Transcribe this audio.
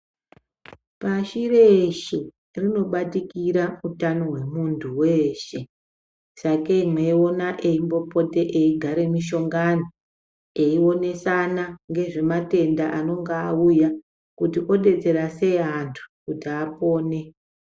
Pashi reshe panobatikira hutano hwemuntu weshe sakei meiwona eimbopote eigare mishongani eionesana ngezvematenda anenga auya kuto obetsera sei antu apone .